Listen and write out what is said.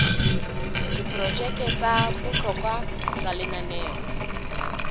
diprojeke tsa bohlokwa tsa lenaneo